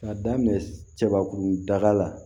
K'a daminɛ cɛbakunda la